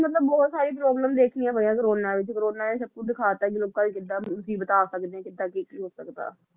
ਮਤਲਬ ਬਹੁਤ ਸਾਰੀ problem ਦੇਖਣੀਆਂ ਪਈਆਂ ਕੋਰੋਨਾ ਵਿੱਚ ਕੋਰੋਨਾ ਨੇ ਸਬ ਕੁਛ ਦਿਖਾਤਾ ਕਿ ਲੋਕਾਂ ਤੇ ਕਿਦਾਂ ਮੁਸੀਬਤਾਂ ਆ ਸਕਦੀਆਂ, ਕਿਦਾਂ ਕੀ ਕੀ ਹੋ ਸਕਦਾ